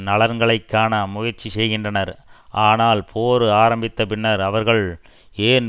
நலன்களை காண முயற்சி செய்கின்றனர் ஆனால் போர் ஆரம்பித்த பின்னர் அவர்கள் ஏன்